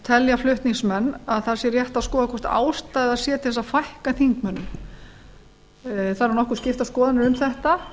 telja flutningsmenn að það sé rétt að skoða hvort ástæða sé til að fækka þingmönnum það eru nokkuð skiptar skoðanir um þetta